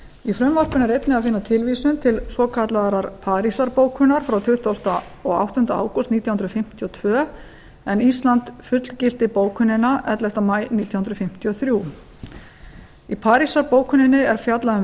í frumvarpinu er einnig að finna tilvísun til svokallaðrar parísarbókunar frá tuttugasta og áttunda ágúst nítján hundruð fimmtíu og tvö en ísland fullgilti bókunina ellefta maí nítján hundruð fimmtíu og þrjú í parísarbókuninni er fjallað um